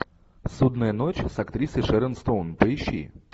судная ночь с актрисой шерон стоун поищи